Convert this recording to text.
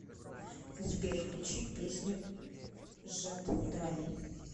сбер включи песню жатендрай